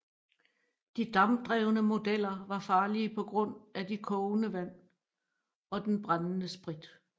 De dampdrevne modeller var farlige på grund af de kogende vand og den brændende sprit